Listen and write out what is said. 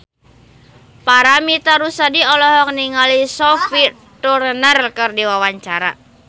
Paramitha Rusady olohok ningali Sophie Turner keur diwawancara